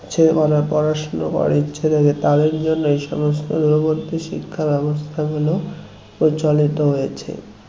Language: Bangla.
সে ওরা পড়াশনা করার ইচ্ছে থাকে তাদের জন্য এই সমস্ত দূরবর্তী শিক্ষা ব্যবস্থা গুলো প্রচলিত হয়েছে